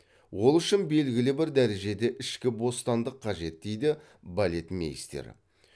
ол үшін белгілі бір дәрежеде ішкі бостандық қажет дейді балетмейстер